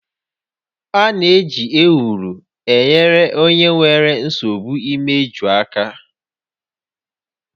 A na-eji Ewuro enyere onye nwere nsogbu imeju aka